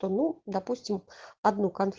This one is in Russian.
ну допустим одну карту